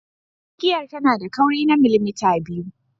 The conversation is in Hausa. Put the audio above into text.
Igiyar tana da kauri na millimita biyu.